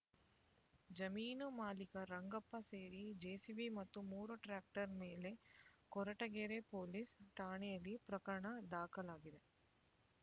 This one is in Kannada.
ಜಮೀನು ಮಾಲೀಕ ರಂಗಪ್ಪ ಸೇರಿ ಜೆಸಿಬಿ ಮತ್ತು ಮೂರು ಟ್ರಾಕ್ಟರ್ ಮೇಲೆ ಕೊರಟಗೆರೆ ಪೊಲೀಸ್ ಠಾಣೆಯಲ್ಲಿ ಪ್ರಕರಣ ದಾಖಲಾಗಿದೆ